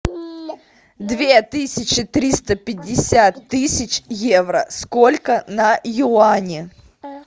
две тысячи триста пятьдесят тысяч евро сколько на юани